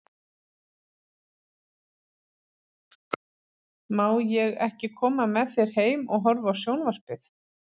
Má ég ekki koma með þér heim og horfa á sjón- varpið?